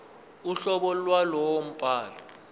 uhlobo lwalowo mbhalo